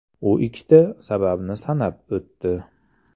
U ikkita sababni sanab o‘tdi.